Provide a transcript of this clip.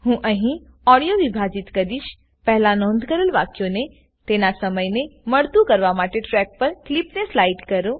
હું અહી ઓડીઓ વિભાજીત કરીશપહેલા નોંધ કરેલ વાક્યોને તેના સમય ને મળતું કરવા માટે ટ્રેક પર ક્લીપને સ્લાઈડ કરો